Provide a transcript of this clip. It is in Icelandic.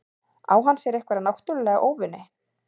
Á hann sér einhverja náttúrulega óvini?